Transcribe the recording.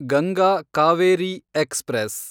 Ganga Kaveri express